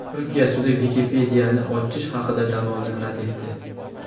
Turkiya sudi Wikipedia’ni ochish haqidagi da’voni rad etdi.